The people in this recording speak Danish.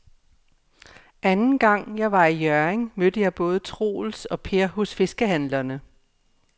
Anden gang jeg var i Hjørring, mødte jeg både Troels og Per hos fiskehandlerne.